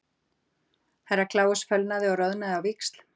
Herra Kláus fölnaði og roðanaði á víxl.